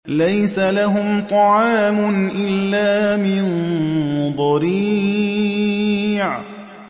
لَّيْسَ لَهُمْ طَعَامٌ إِلَّا مِن ضَرِيعٍ